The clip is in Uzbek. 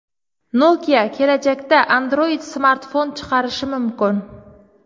Nokia kelajakda Android-smartfon chiqarishi mumkin.